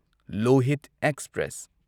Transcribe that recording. Lohit express